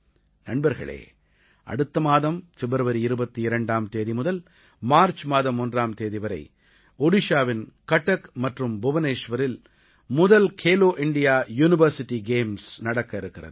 நண்பர்களே அடுத்த மாதம் பிப்ரவரி 22ஆம் தேதி முதல் மார்ச் மாதம் 1ஆம் தேதி வரை ஒடிஷாவின் கட்டக் மற்றும் புவனேஷ்வரில் முதல் கேலோ இண்டியா யூனிவர்சிட்டி கேம்ஸ் நடக்கவிருக்கிறது